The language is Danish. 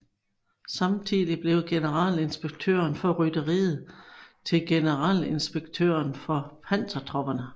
Samtidig blev Generalinspektøren for Rytteriet til Generalinspektøren for Pansertopperne